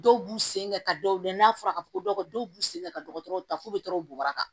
Dɔw b'u sen kɛ ka dɔw lajɛ n'a fɔra ka fɔ ko dɔ b'u sen kɛ ka dɔgɔtɔrɔw ta fo buguraka